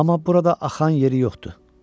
Amma burada axan yeri yoxdur.